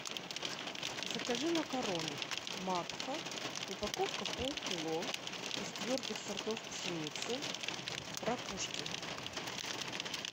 закажи макароны макфа упаковка полкило из твердых сортов пшеницы ракушки